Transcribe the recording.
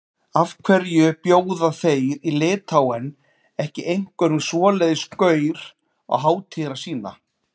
Af hverju bjóða þeir í Litháen ekki einhverjum svoleiðis gaur á hátíðina sína?